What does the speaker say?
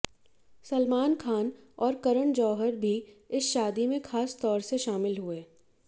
सलमान ख़ान और करण जौहर भी इस शादी में ख़ास तौर से शामिल हुए